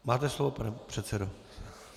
Máte slovo, pane předsedo.